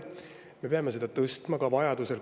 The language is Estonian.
Me peame seda vajaduse korral ka suurendama.